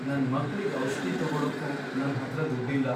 ನನ್ ಮಕ್ಳಿಗ್ ಔಷ್ಧಿ ತಗೊಳಕ್ಕೂ ನನ್ಹತ್ರ ದುಡ್ಡಿಲ್ಲ.